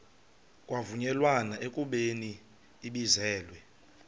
kwavunyelwana ekubeni ibizelwe